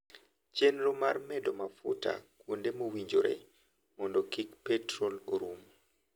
Chenro mar medo mafuta kuonde mowinjore mondo kik petrol orum.